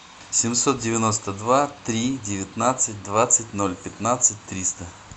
семьсот девяносто два три девятнадцать двадцать ноль пятнадцать триста